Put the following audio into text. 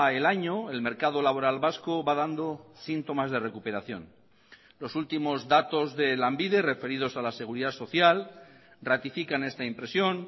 el año el mercado laboral vasco va dando síntomas de recuperación los últimos datos de lanbide referidos a la seguridad social ratifican esta impresión